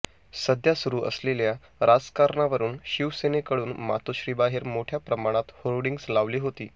सध्या सुरू असलेल्या राजकारणावरून शिवसेनेकडून मातोश्रीबाहेर मोठ्या प्रमाणात होर्डिंग्ज लावली होती